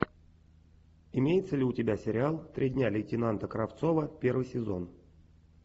имеется ли у тебя сериал три дня лейтенанта кравцова первый сезон